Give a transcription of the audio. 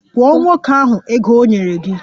Kwụọ nwoke ahụ ego o nyere gị!